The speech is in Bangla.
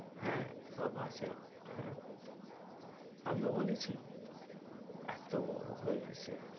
হে ছ মাসে হে আমি তো বলেছি এতো বড়ো হয়ে গেছে,